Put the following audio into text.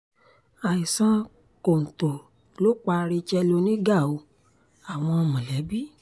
àìsàn kọ́ńtò kọ́ ló pa racheal oníga o-àwọn mọ̀lẹ́bí